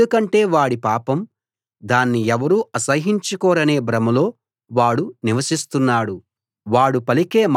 ఎందుకంటే వాడి పాపం బయటపడదనీ దాన్ని ఎవరూ అసహ్యించుకోరనే భ్రమలో వాడు నివసిస్తున్నాడు